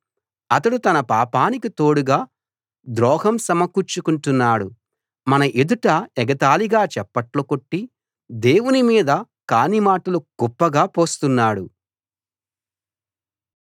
అతడు తన పాపానికి తోడుగా ద్రోహం సమకూర్చుకుంటున్నాడు మన ఎదుట ఎగతాళిగా చప్పట్లు కొట్టి దేవుని మీద కాని మాటలు కుప్పగా పోస్తున్నాడు